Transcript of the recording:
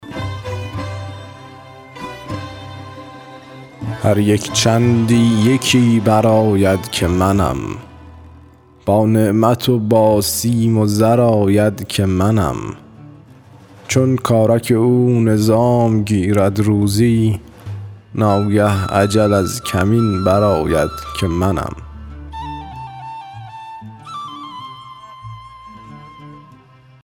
هر یک چندی یکی برآید که منم با نعمت و با سیم و زر آید که منم چون کارک او نظام گیرد روزی ناگه اجل از کمین برآید که منم